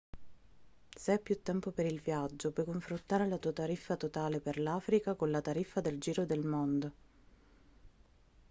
se hai più tempo per il viaggio puoi confrontare la tua tariffa totale per l'africa con la tariffa del giro del mondo